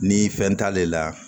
Ni fɛn t'ale la